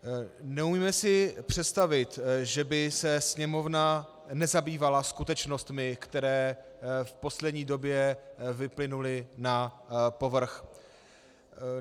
Neumíme si představit, že by se Sněmovna nezabývala skutečnostmi, které v poslední době vyplynuly na povrch.